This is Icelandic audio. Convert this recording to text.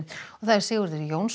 Sigurður Jónsson